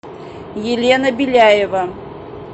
елена беляева